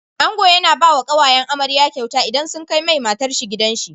Ango yAna bawa kawayen amarya kyauta idan sun kai mai matar shi gidan shi